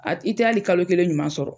A i tɛ hali kalo kelen ɲuman sɔrɔ.